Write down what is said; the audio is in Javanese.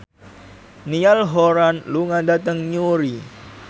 Niall Horran lunga dhateng Newry